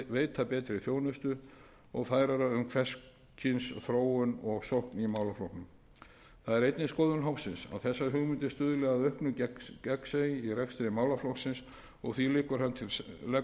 veita betri þjónustu og færara um hvers kyns þróun og sókn í málaflokknum það er einnig skoðun hópsins að þessar hugmyndir stuðli að þessar hugmyndir stuðli að auknu gegnsæi í rekstri málaflokksins og því leggur hann til